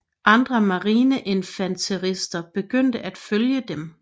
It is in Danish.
Andre marineinfanterister begyndte at følge dem